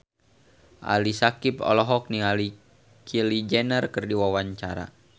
Ali Syakieb olohok ningali Kylie Jenner keur diwawancara